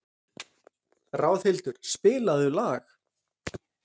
Ráðhildur, spilaðu lag.